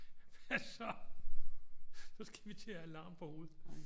Hvad så så skal vi til at have larm på hovedet